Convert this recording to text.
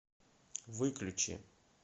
выключи